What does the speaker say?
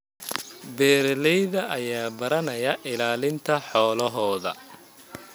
Beeralayda ayaa baranaya ilaalinta xoolahooda.